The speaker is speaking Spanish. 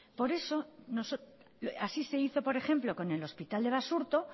así se hizo por ejemplo con el hospital de basurto